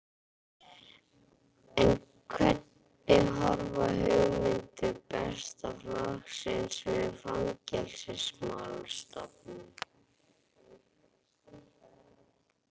En hvernig horfa hugmyndir Besta flokksins við Fangelsismálastofnun?